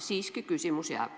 Siiski küsimus jääb.